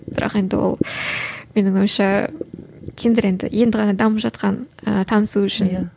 бірақ енді ол менің ойымша тиндер енді енді ғана дамып жатқан ііі танысу үшін иә